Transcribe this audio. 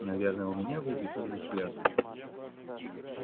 наверное у меня был безумный взгляд